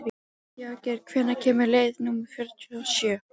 Jagger, hvenær kemur leið númer fjörutíu og sjö?